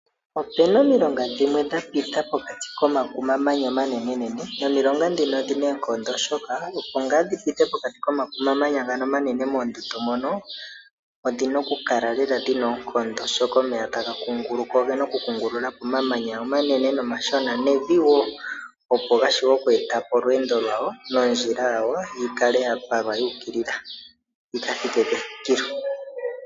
Ope na omilonga dhimwe dha pita pokati komakumamanya omanenenene nomilonga dhika odhi na oonkondo oshoka opo dhi pite pokati komakumamanya omanenenene moondundu moka odhi na okukala dhi na oonkondo, oshoka omeya taga kunguluka oge na okukungulula po omamanya omanene nomashona nevi wo opo ga vule okweeta po olweendo lwago nondjila yawo yi kale ya palwa yuukilila yi ka thike kethikilo.